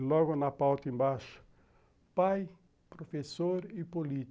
E logo na pauta embaixo, pai, professor e político.